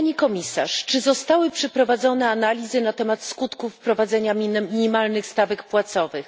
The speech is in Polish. Pani Komisarz! Czy przeprowadzono analizy na temat skutków wprowadzenia minimalnych stawek płacowych?